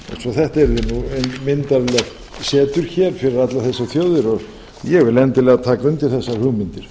svo þetta yrði nú myndarlegt setur hér fyrir allar þessar þjóðir ég vil endilega taka undir þessar hugmyndir